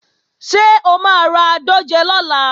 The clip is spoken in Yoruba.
Ṣé o máa ra dòjé lọ́la?